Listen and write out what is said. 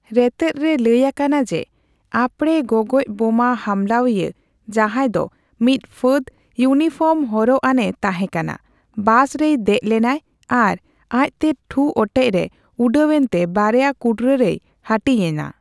ᱨᱮᱛᱮᱫ ᱨᱮ ᱞᱟᱹᱭ ᱟᱠᱟᱱᱟ ᱡᱮ ᱟᱯᱲᱮ ᱜᱚᱜᱚᱡ ᱵᱳᱢᱟ ᱦᱟᱢᱞᱟᱣᱤᱭᱟᱹ, ᱡᱟᱦᱟᱸᱭ ᱫᱚ ᱢᱤᱫ ᱯᱷᱟᱹᱫ ᱤᱭᱩᱱᱤᱯᱷᱚᱨᱢ ᱦᱚᱨᱚᱜ ᱟᱱᱮ ᱛᱟᱦᱮᱸ ᱠᱟᱱᱟ, ᱵᱟᱥ ᱨᱮᱭ ᱫᱮᱡ ᱞᱮᱱᱟᱭ ᱟᱨ ᱟᱡᱛᱮ ᱴᱷᱩᱼᱚᱴᱮᱡᱨᱮ ᱩᱰᱟᱹᱣ ᱮᱱᱛᱮ ᱵᱟᱨᱭᱟ ᱠᱩᱴᱨᱟ ᱨᱮᱭ ᱦᱟᱹᱴᱤᱧᱮᱱᱟ ᱾